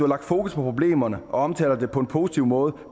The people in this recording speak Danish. lagt fokus på problemerne og omtaler dem på en positiv måde